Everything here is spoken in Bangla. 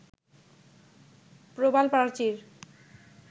প্রবাল প্রাচীর